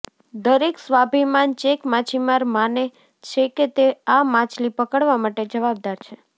દરેક સ્વાભિમાન ચેક માછીમાર માને છે કે તે આ માછલી પકડવા માટે જવાબદાર છે